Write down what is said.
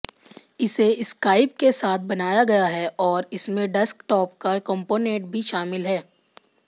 इसे स्काइप के साथ बनाया गया है और इसमें डेस्कटॉप का कंपोनेट भी शामिल है